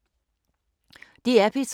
DR P3